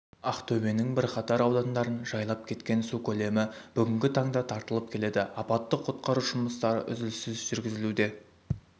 ақтөбенің бірқатар аудандарын жайлап кеткен су көлемі бүгінгі таңда тартылып келеді апаттық құтқару жұмыстары үзіліссіз жүргізілуде